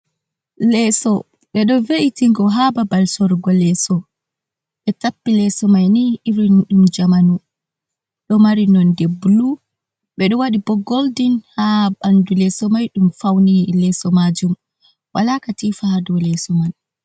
Leeso ɓe ɗo ve’itigo ha babal sorgo leeso, ɓe tappi leeso mai ni irin ɗum jamanu, ɗo mari nonde blu, ɓe ɗo waɗi bo goldin ha ɓandu leeso mai ɗum fauni leeso majum, wala katifa ha dow leeso man.